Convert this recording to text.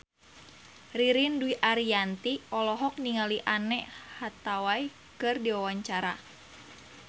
Ririn Dwi Ariyanti olohok ningali Anne Hathaway keur diwawancara